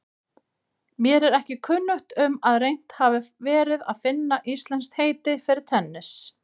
Mér er ekki kunnugt um að reynt hafi verið að finna íslenskt heiti fyrir tennis.